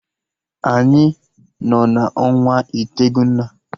Anyị nọ na ọnwa itegụna